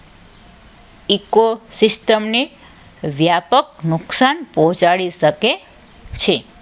eco system ને વ્યાપક નુકસાન પહોંચાડી શકે છે.